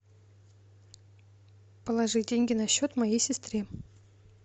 положи деньги на счет моей сестры